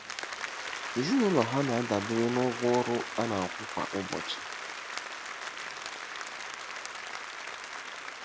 Ezinụlọ ha na-adabere na ụgwọ ọrụ a na-akwụ kwa ụbọchị.